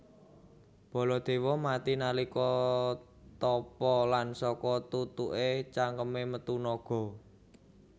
Baladewa mati nalika tapa lan saka tutuke cangkeme metu naga